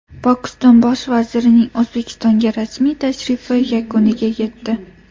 Pokiston bosh vazirining O‘zbekistonga rasmiy tashrifi yakuniga yetdi.